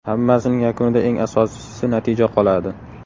Hammasining yakunida eng asosiysi natija qoladi.